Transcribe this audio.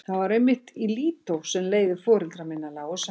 Það var einmitt í Lídó sem leiðir foreldra minna lágu saman.